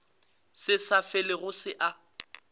se sa felego se a